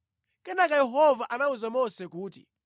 Kenaka Yehova anawuza Mose kuti,